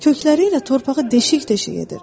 Kökləri ilə torpağı deşik-deşik edir.